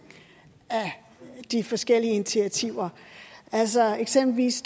af de forskellige initiativer altså eksempelvis